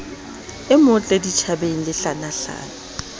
e motle ditjhabeng lehlanahlana ke